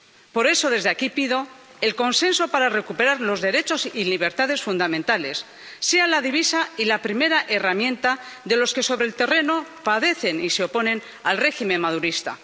Por eso, desde aquí pido que el consenso para recuperar los derechos y libertades fundamentales sea la divisa y la primera herramienta de los que, sobre el terreno, padecen y se oponen al régimen madurista.